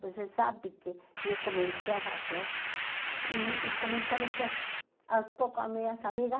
Você sabe que eu comecei a fazer e e comecei a vender aos poucos às minhas amigas.